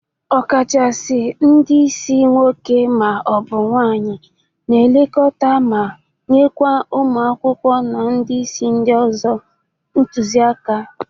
Ọkachasi ndị isi nwoke ma ọ bụ nwaanyị na-elekọta ma nyekwa ụmụ akwụkwọ na ndị isi ndị ọzọ ntụzị aka.